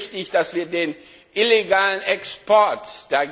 Es ist richtig, dass wir den illegalen Export eindämmen.